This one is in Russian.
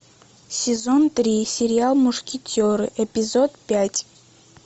сезон три сериал мушкетеры эпизод пять